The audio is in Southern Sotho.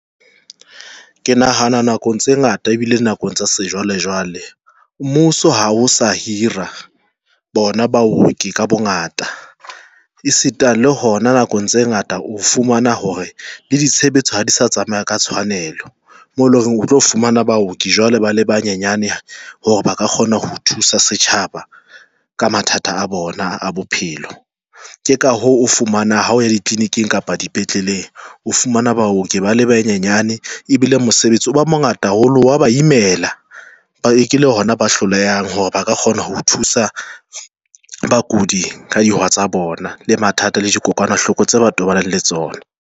Ke nahana nakong tse ngata ebile nakong tsa sejwalejwale mmuso ha o sa hira bona baoki ka bongata e sita le hona nakong tse ngata. O fumana hore le ditshebetso ha di sa tsamaya ka tshwanelo, mo leng hore o tlo fumana baoki jwale ba le banyanyane hore ba ka kgona ho thusa setjhaba ka mathata a bona a bophelo, ke ka hoo o fumana ha o ya ditleliniking kapa dipetleleng. O fumana baoki ba le banyenyane e bile mosebetsi o ba mongata haholo, wa ba imela. Ke le hona ba hlolehang hore ba ka kgona ho thusa bakudi ka di tsa bona le mathata le dikokwanahloko tse ba tobaneng le tsona.